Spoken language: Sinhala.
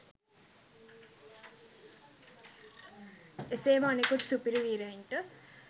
එසේම අනෙකුත් සුපිරි වීරයන්ට